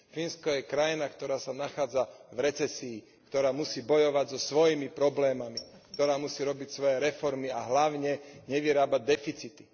Fínsko je krajina, ktorá sa nachádza v recesii, ktorá musí bojovať so svojimi problémami, ktorá musí robiť svoje reformy a hlavne nevyrábať deficity.